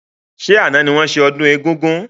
Ṣé àna ni wọn ṣe ọdún egúngún?